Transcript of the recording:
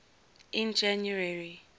in january